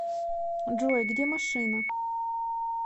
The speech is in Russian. джой где машина